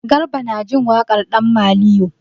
Garba na jin waƙan ɗan maliyo.